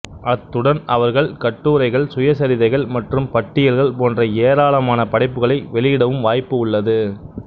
அத்துடன் அவர்கள் கட்டுரைகள் சுயசரிதைகள் மற்றும் பட்டியல்கள் போன்ற ஏராளமான படைப்புகளை வெளியிடவும் வாய்ப்பு உள்ளது